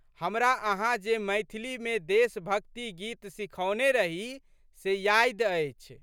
हमरा अहाँ जे मैथिलीमे देशभक्ति गीत सिखौने रही से यादि अछि।